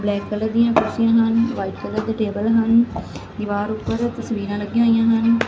Black colour ਦੀਆਂ ਕੁਰਸੀਆਂ ਹਨ ਵਾਈਟ ਕਲਰ ਦੇ ਟੇਬਲ ਹਨ ਦੀਵਾਰ ਉੱਪਰ ਤਸਵੀਰਾਂ ਲੱਗੀਆਂ ਹੋਈਆਂ ਹਨ।